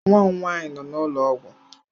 Nwa m nwaanyị nọ n'ụlọ ọgwụ.